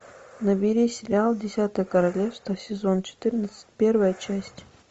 набери сериал десятое королевство сезон четырнадцать первая часть